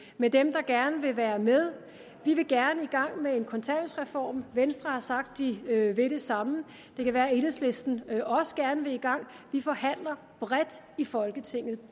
med dem der gerne vil være med vi vil gerne i gang med en kontanthjælpsreform og venstre har sagt de vil det samme det kan være enhedslisten også gerne vil i gang vi forhandler bredt i folketinget